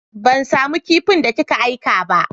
Ban samu kipin da ki ka aika ba.